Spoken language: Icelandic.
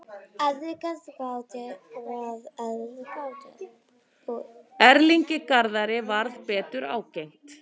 Erlingi Garðari varð betur ágengt.